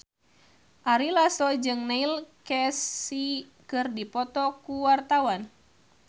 Ari Lasso jeung Neil Casey keur dipoto ku wartawan